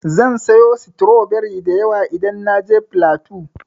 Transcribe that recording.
Zan sayo stroberi da yawa idan na je flatu.